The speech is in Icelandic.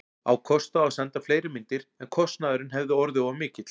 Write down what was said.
Á kost á að senda fleiri myndir, en kostnaðurinn hefði orðið of mikill.